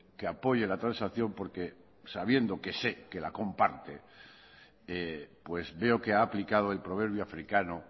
que apoye la transacción porque sabiendo que sé que la comparte pues veo que ha aplicado el proverbio africano